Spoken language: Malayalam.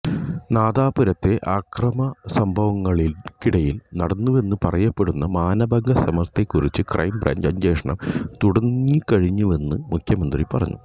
നാദാപുരത്തെ അക്രമസംഭവങ്ങള്ക്കിടയില് നടന്നുവെന്നു പറയപ്പെടുന്ന മാനഭംഗശ്രമത്തെക്കുറിച്ച് ക്രൈംബ്രാഞ്ച് അന്വേഷണം തുടങ്ങിക്കഴിഞ്ഞുവെന്ന് മുഖ്യമന്ത്രി പറഞ്ഞു